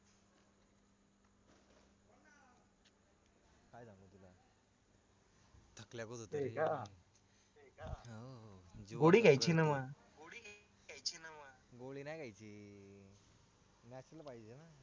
गोळी घेयचीना मग